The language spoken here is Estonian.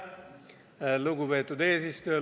Lugupeetud eesistuja!